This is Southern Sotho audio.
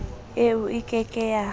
eo e ke ke ya